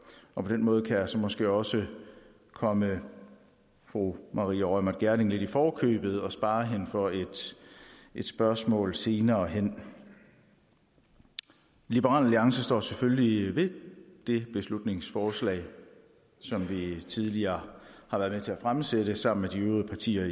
på den måde kan jeg så måske også komme fru maria reumert gjerding lidt i forkøbet og spare hende for et spørgsmål senere hen liberal alliance står selvfølgelig ved det beslutningsforslag som vi tidligere har været med til at fremsætte sammen med de øvrige partier